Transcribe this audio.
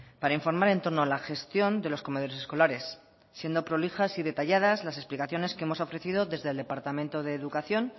para informar en torno a la gestión de los comedores escolares siendo prolijas y detallas las explicaciones que hemos ofrecido desde el departamento de educación